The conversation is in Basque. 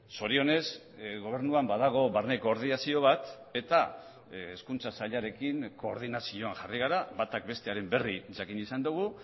zorionez gobernuan badago barne koordinazio bat eta hezkuntza sailarekin koordinazioan jarri gara batak bestearen berri jakin izan dugu